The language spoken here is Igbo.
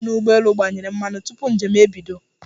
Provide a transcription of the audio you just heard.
Onye na-agbanye mmanụ n'ụgbọelu gbanyere mmanụ tupu njem ebido.